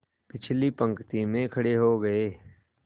पिछली पंक्ति में खड़े हो गए